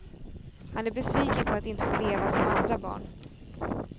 Han är besviken på att inte få leva som andra barn.